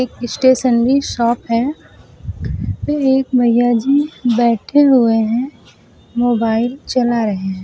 Stationery shop है फिर एक भैया जी बैठे हुए हैं मोबाइल चला रहे हैं।